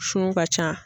Sun ka ca